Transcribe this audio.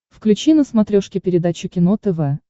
включи на смотрешке передачу кино тв